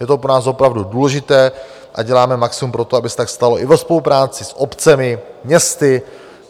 Je to pro nás opravdu důležité a děláme maximum pro to, aby se tak stalo i ve spolupráci s obcemi, městy.